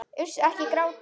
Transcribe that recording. Uss, ekki gráta.